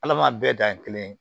Ala ma bɛɛ dan kelen ye